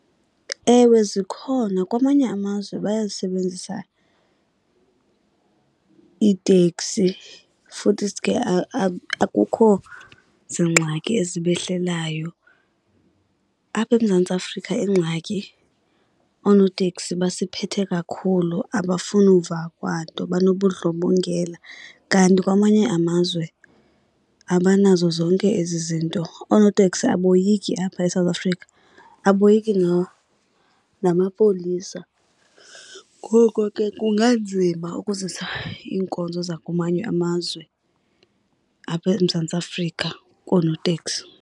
Ewe, zikhona. Kwamanye amazwe bayazisebenzisa iiteksi futhisi ke akukho ziingxaki ezibehlelayo. Apha eMzantsi Afrika ingxaki oonoteksi basiphethe kakhulu, abafuni uva kwanto banobundlobongela. Kanti kwamanye amazwe abanazo zonke ezi zinto. Oonoteksi aboyiki apha eSouth Africa, aboyiki namapolisa. Ngoko ke kunganzima ukuzisa iinkonzo zakumanye amazwe apha eMzantsi Afrika koonoteksi.